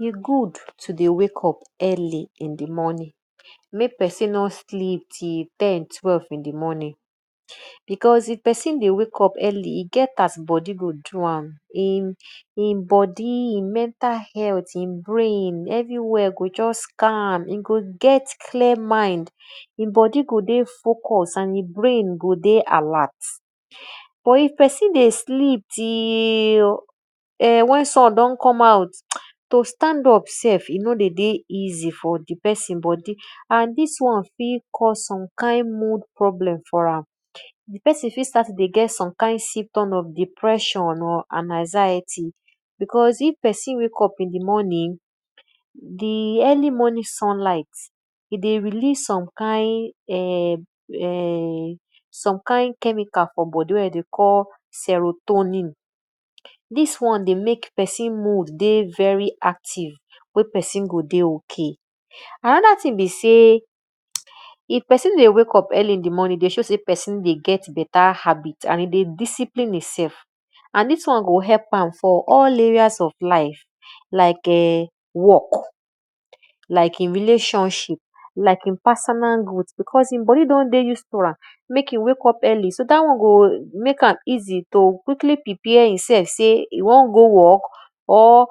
E good to dey wake up early in di morning mek pesin mno sleep till ten twelve in di morning because if pesin dey wake up early e get as e bodi dey do am. bodi, e mental health e brain everywhere go just calm, e go get calm mind, e bodi go dey focus and e go dey alert but if pein dey sleep till wen sun don come out to stand up self e nor dey dey easy for di pesin bodi and dis won fit cause some kind mood problem for am, di pesin fit dey get some kind symptom of depression and anxiety because if pesin wake up in di mornig, di early morning sun light dey release some kind chemical for bodi wey de dey call cerotoni. Dis one wey mek pesin mood dey very active wey pesin go dey ok. Anoda thing be sey if pesin dey wake up earlyh in di morning dey show sey pesin dey get beta habbit and e dey discipline e sef and dis area go help for all areas of life like work, like relationship, like e personal growth because e bodi don dey use to am mek e wake up early so dat won go mek am easy to quickly prpare e sef to go work or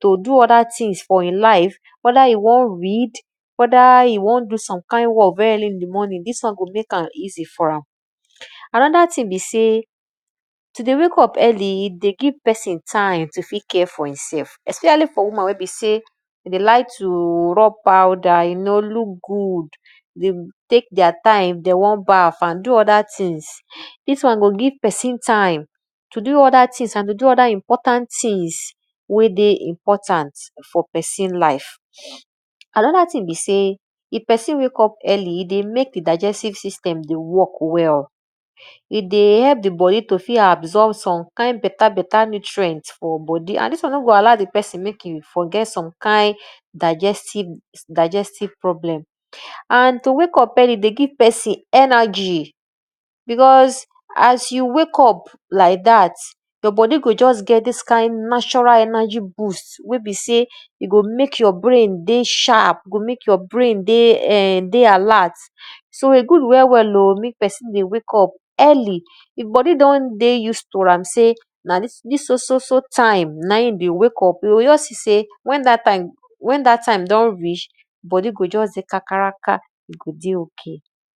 to do other things for e life weda e won read, weda e won do some kind work early in di morning, dis work go mek am easy for am. Anoda thing be sey to dey wake up early dey give pesini time wey e fit care for e sef especially for woman wey be sey e dey like to rub powder you know look good, dey tek their time if de won bath and do other things dis won go give pesin time to do other things wey dey important for eosin life. Anoda thing be sey if pesin wek up earrlky e dey mek di digestive system dey work well, e dey help di bodi t fit absorb some kind beta beta nutrient for bodi and dis won nor go allow di pesin mek e forget some kind digestive problem. And to wake up early dey give pesin energy because as you wake up lik dat, your bodi go just get dis kind natural energy boost wey be sey e go mek your brain dey sharp, e go mek your brain dey alert, so e good well well mek pesin dey wake up early e bodi d ey don dey use to am sey na so dis so so so time na e dey wake up, e juts seesey en dat time don reach, bodi o just dey kakaraka, e go dey ok.